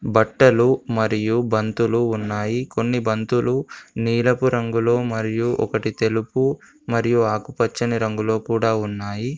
బట్టలు మరియు బంతులు ఉన్నాయి. కొన్ని బంతులు నీలపు రంగులో మరియు ఒకటి తెలుపు మరియు ఆకుపచ్చని రంగులో కూడా ఉన్నాయి.